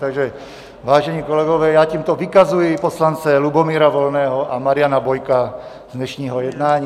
Takže vážení kolegové, já tímto vykazuji poslance Lubomíra Volného a Mariana Bojka z dnešního jednání.